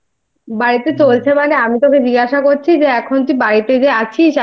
বাড়িতে চলছে মানে আমি তোকে জিজ্ঞাসা করছি যে এখন তুই বাড়িতে